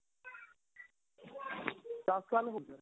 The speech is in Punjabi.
ਦੱਸ ਸਾਲ ਹੋ ਗਏ